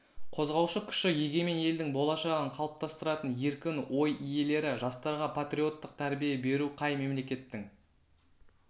қозғаушы күші егемен елдің болашағын қалыптастыратын еркін ой иелері жастарға патриоттық тәрбие беру қай мемлекеттің